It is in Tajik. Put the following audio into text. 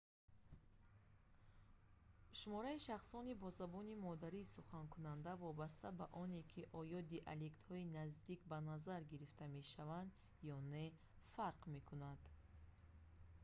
шумораи шахсони бо забони модарӣ суханкунанда вобаста ба оне ки оё диалектҳои наздик ба назар гирифта мешаванд ё не фарқ мекунад